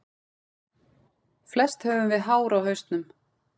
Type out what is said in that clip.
Flest höfum við hár á hausnum.